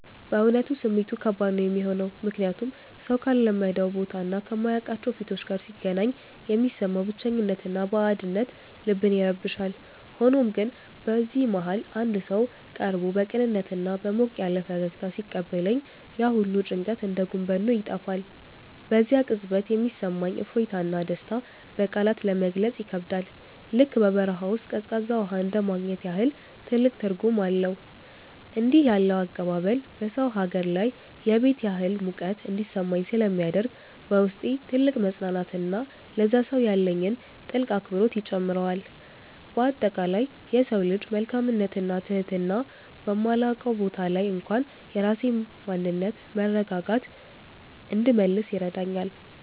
በእውነቱ ስሜቱ ከባድ ነው የሚሆነው፤ ምክንያቱም ሰው ካልለመደው ቦታና ከማያውቃቸው ፊቶች ጋር ሲገናኝ የሚሰማው ብቸኝነትና ባዕድነት ልብን ይረብሻል። ሆኖም ግን በዚህ መሃል አንድ ሰው ቀርቦ በቅንነትና በሞቅ ያለ ፈገግታ ሲቀበለኝ፣ ያ ሁሉ ጭንቀት እንደ ጉም በኖ ይጠፋል። በዚያ ቅጽበት የሚሰማኝ እፎይታና ደስታ በቃላት ለመግለጽ ይከብዳል፤ ልክ በበረሃ ውስጥ ቀዝቃዛ ውሃ እንደማግኘት ያህል ትልቅ ትርጉም አለው። እንዲህ ያለው አቀባበል በሰው ሀገር ላይ የቤት ያህል ሙቀት እንዲሰማኝ ስለሚያደርግ፣ በውስጤ ትልቅ መፅናናትንና ለዚያ ሰው ያለኝን ጥልቅ አክብሮት ይጨምረዋል። በአጠቃላይ የሰው ልጅ መልካምነትና ትህትና በማላውቀው ቦታ ላይ እንኳን የራሴን ማንነትና መረጋጋት እንድመልስ ይረዳኛል።